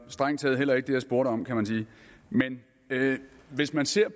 strengt taget heller ikke det jeg spurgte om kan man sige men hvis man ser